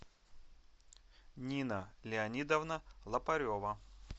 нина леонидовна лопарева